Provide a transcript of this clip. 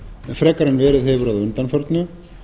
frekar en verið hefur að undanförnu